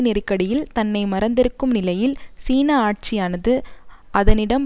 நெருக்கடியில் தன்னை மறந்திருக்கும் நிலையில் சீன ஆட்சியானது அதனிடம்